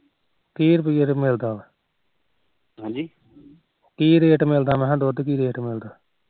ਕੀ rate ਮਿਲਦਾ ਮੈਖਾ ਦੁੱਧ ਕੀ ਰੇਟ ਮਿਲਦਾ